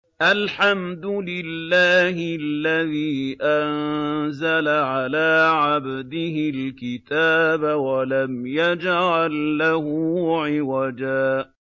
الْحَمْدُ لِلَّهِ الَّذِي أَنزَلَ عَلَىٰ عَبْدِهِ الْكِتَابَ وَلَمْ يَجْعَل لَّهُ عِوَجًا ۜ